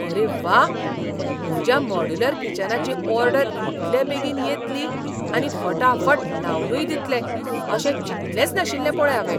आरे व्वा! म्हज्या मॉड्यूलर किचनाची ऑर्डर इतले बेगीन येतली आनी फटाफट लावनूय दितले अशें चिंतलेंच नाशिल्लें पळय हावें.